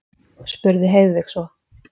spurði Heiðveig svo.